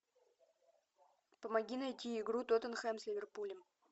помоги найти игру тоттенхэм с ливерпулем